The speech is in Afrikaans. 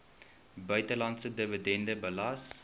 buitelandse dividend belas